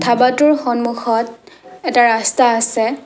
ধাবাটোৰ সন্মুখত এটা ৰাস্তা আছে।